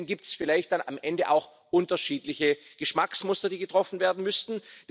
Und deswegen gibt es vielleicht dann am Ende auch unterschiedliche Geschmacksmuster, die getroffen werden müssten.